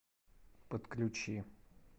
подключи